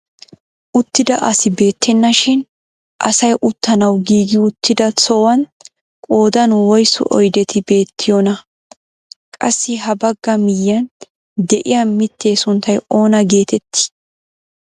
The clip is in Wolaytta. Uttida asi beettenashin asay uttanawu giigi uttida sohuwaan qoodan woysu oydeti beettiyoonaa? qassi ha bagga miyiyaan de'iyaa mittee sunttay oona getettii?